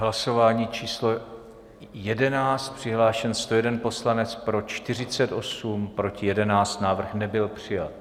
Hlasování číslo 11, přihlášen 101 poslanec, pro 48, proti 11, návrh nebyl přijat.